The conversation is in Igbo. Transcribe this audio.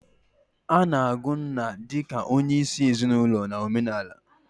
Ana-agụ nna di ka onyeisi ezinaulo na omenala.